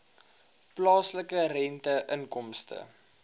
plaaslike rente inkomste